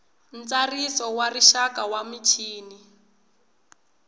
ntsariso wa rixaka wa michini